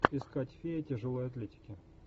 искать фея тяжелой атлетики